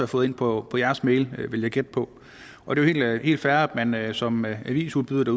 fået ind på deres mail vil jeg gætte på på det er jo helt fair at man som avisudbyder